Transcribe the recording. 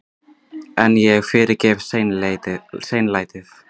En ég fyrirgef seinlætið.